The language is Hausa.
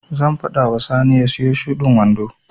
Zan faɗa wa Sani ya siyo shudin wando.